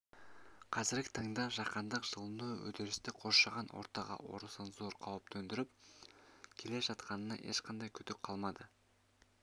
қазіргі таңда жаһандық жылыну үдерісі қоршаған ортаға орасан зор қауіп төндіріп келе жатқанына ешқандай күдік қалмады